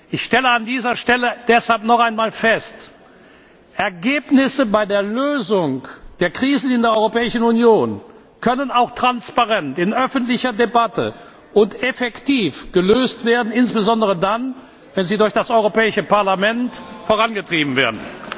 Ich stelle an dieser Stelle deshalb noch einmal fest Ergebnisse bei der Lösung der Krisen in der Europäischen Union können auch transparent in öffentlicher Debatte und effektiv gelöst werden, insbesondere dann, wenn sie durch das Europäische Parlament vorangetrieben werden.